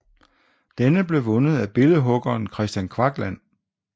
Denne blev vundet af billedhuggeren Kristian Kvakland